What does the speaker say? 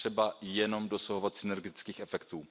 Je třeba jenom dosahovat synergetických efektů.